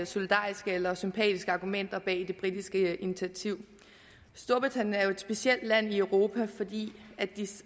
solidariske eller sympatiske argumenter bag det britiske initiativ storbritannien er jo et specielt land i europa fordi de